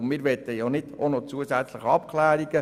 » Wir möchten keine zusätzlichen Abklärungen;